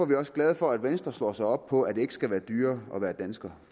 vi også glade for at venstre slår sig op på at det ikke skal være dyrere at være dansker